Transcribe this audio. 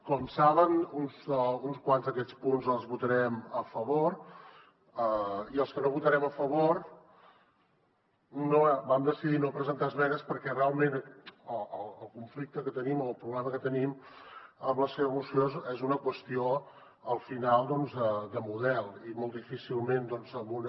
com saben uns quants d’aquests punts els votarem a favor i en els que no votarem a favor vam decidir no presentar esmenes perquè realment el conflicte que tenim o el problema que tenim amb la seva moció és una qüestió al final de model i molt difícilment en una